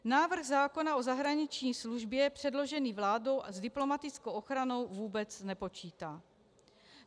Návrh zákona o zahraniční službě předložený vládou s diplomatickou ochranou vůbec nepočítá.